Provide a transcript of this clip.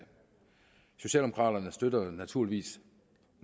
socialdemokraterne støtter naturligvis